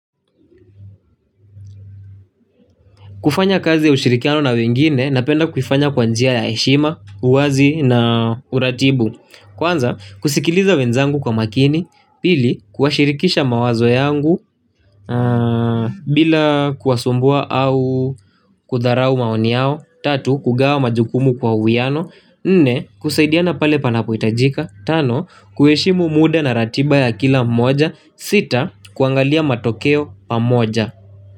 Kufanya kazi ya ushirikiano na wengine, napenda kuifanya kwa njia ya heshima, uwazi na uratibu. Kwanza, kusikiliza wenzangu kwa makini, pili, kuwashirikisha mawazo yangu, bila kuwasumbua au kudharau maoni yao, tatu, kugawa majukumu kwa uwiano, nne, kusaidiana pale panapohitajika, tano, kuheshimu muda na ratiba ya kila mmoja, sita, kuangalia matokeo pamoja.